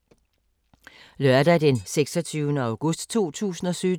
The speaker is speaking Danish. Lørdag d. 26. august 2017